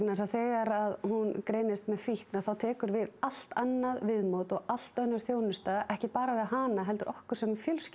því þegar hún greinist með fíkn tekur við allt annað viðmót allt önnur þjónusta ekki bara við hana heldur okkur sem fjölskyldu